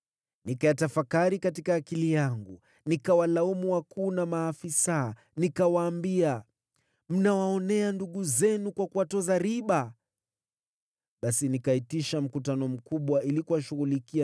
Nikayatafakari katika akili yangu, nikiwalaumu wakuu na maafisa. Nikawaambia, “Mnawaonea ndugu zenu kwa kuwatoza riba!” Basi nikaitisha mkutano mkubwa ili kuwashughulikia